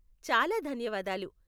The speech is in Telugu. చాలా ధన్యవాదాలు.